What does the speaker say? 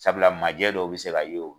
Sabula maajɛ dɔw bɛ se ka se yen.